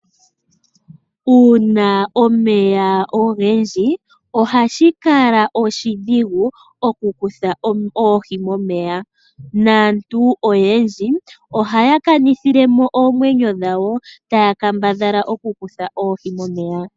Uuna omeya ogendji ohashi kala oshidhigu oku kutha oohi momeya. Naantu oyendji ohaya kanithilemo oomwenyo dhawo, taya kambadhala oku kutha oohi momeya.